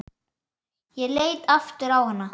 Ég leit aftur á hana.